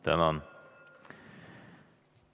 Tänan!